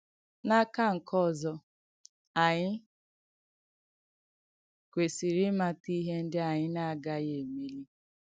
N’àkà nké òzọ̀, ànyị̣ kwèsìịrị̀ ìmàtà ìhé ndí ànyị̣ nà-àgàghì èmélì.